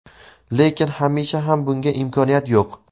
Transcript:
lekin hamisha ham bunga imkoniyat yo‘q.